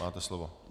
Máte slovo.